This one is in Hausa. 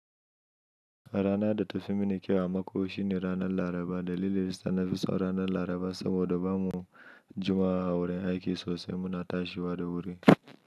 A rana da ta fi mini kyau a mako shine ranar Laraba. Dalili yasa nafi son ranar Laraba saboda bamu juma'a a wurin aiki sosai muna tashiwa da wuri.